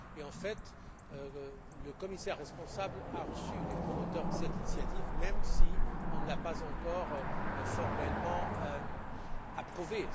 En fait, le commissaire responsable a reçu les promoteurs de cette initiative, même si elle n'a pas encore été formellement approuvée.